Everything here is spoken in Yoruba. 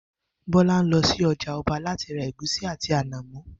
Bó̩lá ń lo̩ sí o̩jà o̩ba láti ra ègúsí àti ànàmó̩